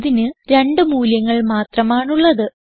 ഇതിന് രണ്ട് മൂല്യങ്ങൾ മാത്രമാണുള്ളത്